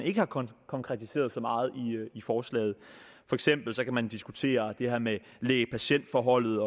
ikke har konkretiseret så meget i forslaget for eksempel kan man diskutere det her med læge patient forholdet